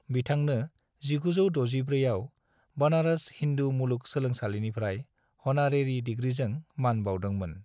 बिथांनो 1964 आव बनारस हिंदू मुलुग सोलोंसालिनिफ्राय हनारेरि दिग्रिजों मान बाउदोंमोन।